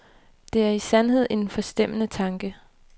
Det er i sandhed en forstemmende tanke.